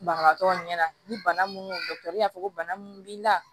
Banabagatɔ ɲɛna ni bana minnu y'a fɔ ko bana min b'i la